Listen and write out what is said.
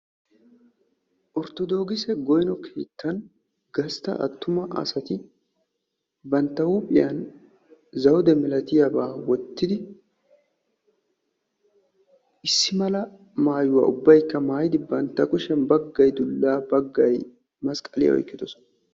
Orttodookise goyno keettan gastta attuma asati bantta huuphiyan zawude malatiyabaa wottidi issi mala maayuwa ubbaykka maayidi kushiyan baggayi dullaa baggayi masqqaliya oyqqidosona.